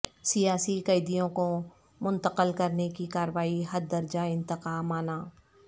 سیاسی قیدیوں کو منتقل کرنے کی کارروائی حد درجہ انتقامانہ